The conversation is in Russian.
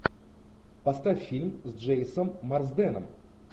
поставь фильм с джеймсом марсденом